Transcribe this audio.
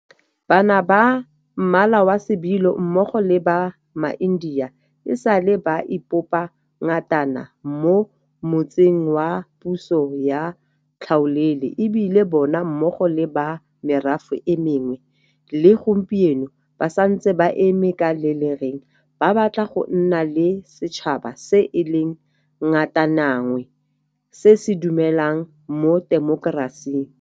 Bana ba Mmala wa Sebilo mmogo le ba maIndia e sa le ba ipopa ngatana mo motsing wa puso ya tlhaolele, e bile bona mmogo le ba merafe e mengwe le gompieno ba santse ba eme ka le lereng ba batla go nna le setšhaba se e leng ngatananngwe se se dumelang mo temokerasing.